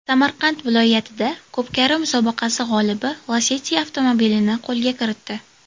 Samarqand viloyatida ko‘pkari musobaqasi g‘olibi Lacetti avtomobilini qo‘lga kiritdi .